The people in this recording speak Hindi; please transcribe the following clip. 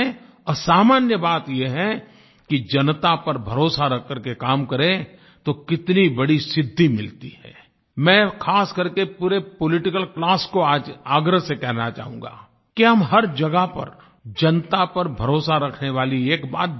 असामान्य बात ये है कि जनता पर भरोसा रखकर के काम करें तो कितनी बड़ी सिद्धि मिलती हैI मैं ख़ासकर के पूरे पॉलिटिकल क्लास को आज आग्रह से कहना चाहूँगा कि हम हर जगह पर जनता पर भरोसा रखने वाली एक बात ज़रूर करें